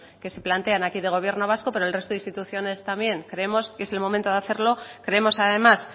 que se plantean aquí de gobierno vasco pero en el resto de instituciones también creemos que es el momento de hacerlo creemos además